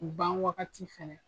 Ban wagati fɛnɛ